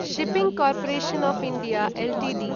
shipping corporation of India Ltd